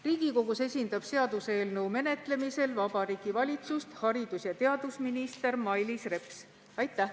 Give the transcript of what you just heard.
Riigikogus esindab seaduseelnõu menetlemisel Vabariigi Valitsust haridus- ja teadusminister Mailis Reps.